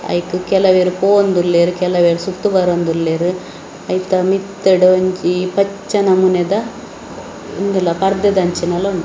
‌ ಐಕ್‌ ಕೆಲೆವೆರು ಪೋವಾಂದುಲ್ಲೇರ್‌ ಕೆಲೆವೆರು ಸುತ್ತ್‌ ಬರೋಂದುಲ್ಲೇರ್‌ ಐತ ಮಿತ್ತ್‌ಡ್‌ ಒಂಜಿ ಪಚ್ಚೆ ನಮೂನೆದ ಉಂದುಲ ಪರ್ದೆದಂಚಿನಲ ಉಂಡ್ --